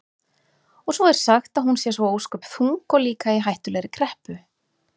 Og svo er sagt að hún sé svo ósköp þung og líka í hættulegri kreppu.